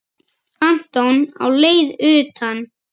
Anton á leið utan?